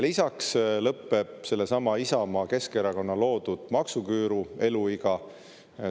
Lisaks lõpeb sellesama Isamaa-Keskerakonna loodud maksuküüru eluiga.